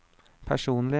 personlig